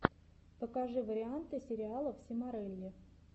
покажи варианты сериалов симорелли